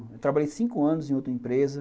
Eu trabalhei cinco anos em outra empresa.